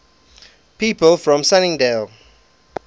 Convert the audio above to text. people from sunningdale